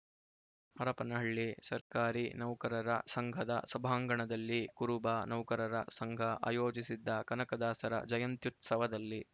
ಹರಪನಹಳ್ಳಿ ಸರ್ಕಾರಿ ನೌಕರರ ಸಂಘದ ಸಭಾಂಗಣದಲ್ಲಿ ಕುರುಬ ನೌಕರರ ಸಂಘ ಆಯೋಜಿಸಿದ್ದ ಕನಕದಾಸರ ಜಯಂತ್ಯುತ್ಸವದಲ್ಲಿ